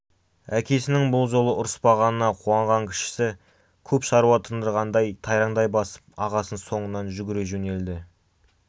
әкесінің бұл жолы ұрыспағанына қуанған кішісі көп шаруа тындырғандай тайраңдай басып ағасының соңынан жүгіре жөнелді